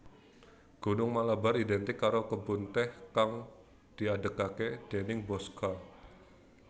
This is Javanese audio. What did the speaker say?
Gunung Malabar identik karo kebun tèh kang diadegaké déning Bosscha